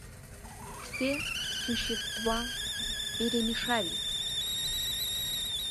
все существа перемешались